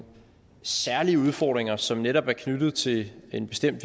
særlige udfordringer som netop er knyttet til en bestemt